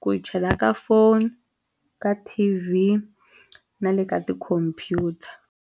ku chela ka phone ka T_V na le ka ti-computer.